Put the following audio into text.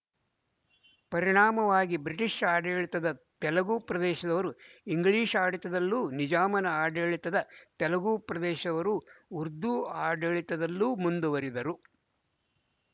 ಪರಿಣಾಮವಾಗಿ ಬ್ರಿಟಿಶ ಆಡಳಿತದ ತೆಲುಗು ಪ್ರದೇಶದವರು ಇಂಗ್ಲಿಶ ಆಡಳಿತದಲ್ಲೂ ನಿಜಾಮನ ಆಡಳಿತದ ತೆಲುಗು ಪ್ರದೇಶದವರು ಉರ್ದು ಆಡಳಿತದಲ್ಲೂ ಮುಂದುವರಿದರು